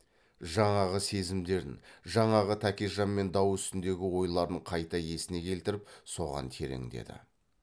жаңағы сезімдерін жаңағы тәкежанмен дау үстіндегі ойларын қайта есіне келтіріп соған тереңдеді